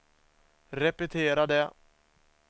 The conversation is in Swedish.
repetera det